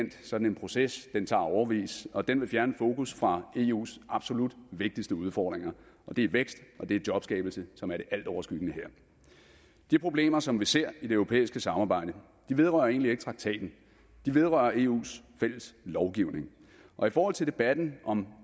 sådan en proces tager årevis og den vil fjerne fokus fra eus absolut vigtigste udfordringer og det er vækst og det er jobskabelse som er det altoverskyggende her de problemer som vi ser i det europæiske samarbejde vedrører egentlig ikke traktaten de vedrører eus fælles lovgivning og i forhold til debatten om